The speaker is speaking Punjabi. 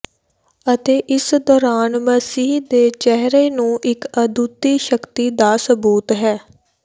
ਅਤੇ ਇਸ ਦੌਰਾਨ ਮਸੀਹ ਦੇ ਚਿਹਰੇ ਨੂੰ ਇੱਕ ਅਦੁੱਤੀ ਸ਼ਕਤੀ ਦਾ ਸਬੂਤ ਹੈ